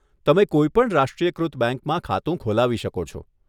તમે કોઈ પણ રાષ્ટ્રીયકૃત બેંકમાં ખાતું ખોલાવી શકો છો.